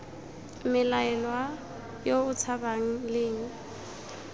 mmelaelwa yo o tshabang leng